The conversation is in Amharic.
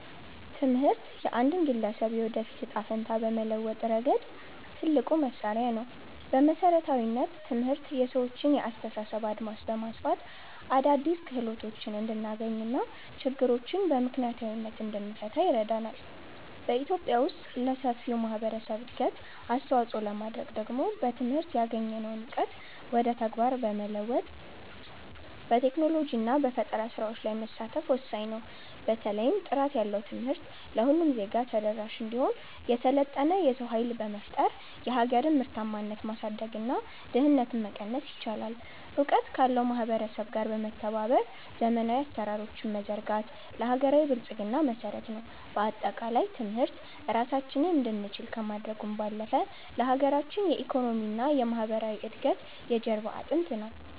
ትምህርት የአንድን ግለሰብ የወደፊት ዕጣ ፈንታ በመለወጥ ረገድ ትልቁ መሣሪያ ነው። በመሠረታዊነት፣ ትምህርት የሰዎችን የአስተሳሰብ አድማስ በማስፋት አዳዲስ ክህሎቶችን እንድናገኝና ችግሮችን በምክንያታዊነት እንድንፈታ ይረዳናል። በኢትዮጵያ ውስጥ ለሰፊው ማኅበረሰብ እድገት አስተዋፅኦ ለማድረግ ደግሞ በትምህርት ያገኘነውን እውቀት ወደ ተግባር በመለወጥ፣ በቴክኖሎጂና በፈጠራ ሥራዎች ላይ መሳተፍ ወሳኝ ነው። በተለይም ጥራት ያለው ትምህርት ለሁሉም ዜጋ ተደራሽ ሲሆን፣ የሰለጠነ የሰው ኃይል በመፍጠር የሀገርን ምርታማነት ማሳደግና ድህነትን መቀነስ ይቻላል። እውቀት ካለው ማኅበረሰብ ጋር በመተባበር ዘመናዊ አሠራሮችን መዘርጋት ለሀገራዊ ብልጽግና መሠረት ነው። በአጠቃላይ፣ ትምህርት ራሳችንን እንድንችል ከማድረጉም ባለፈ፣ ለሀገራችን የኢኮኖሚና የማኅበራዊ እድገት የጀርባ አጥንት ነው።